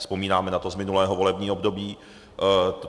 Vzpomínáme na to z minulého volebního období.